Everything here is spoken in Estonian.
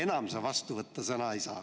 Aga enam sa vastu sõna võtta ei saa.